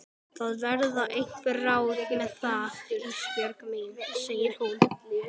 Það verða einhver ráð með það Ísbjörg mín, segir hún.